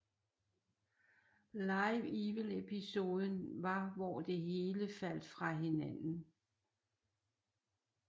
Live Evil episoden var hvor det hele faldt fra hinanden